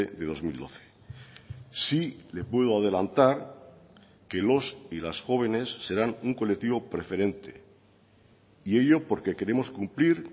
de dos mil doce sí le puedo adelantar que los y las jóvenes serán un colectivo preferente y ello porque queremos cumplir